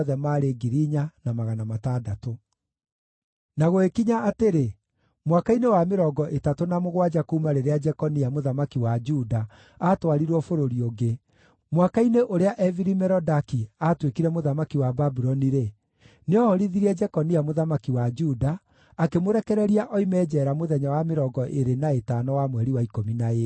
Na gũgĩkinya atĩrĩ, mwaka-inĩ wa mĩrongo ĩtatũ na mũgwanja kuuma rĩrĩa Jekonia, mũthamaki wa Juda, aatwarirwo bũrũri ũngĩ, mwaka-inĩ ũrĩa Evili-Merodaki aatuĩkire mũthamaki wa Babuloni-rĩ, nĩohorithirie Jekonia mũthamaki wa Juda, akĩmũrekereria oime njeera mũthenya wa mĩrongo ĩĩrĩ na ĩtano wa mweri wa ikũmi na ĩĩrĩ.